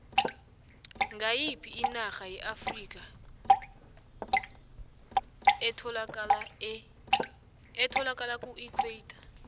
ngoyiphi inarha yeafrikha etholakala kuequator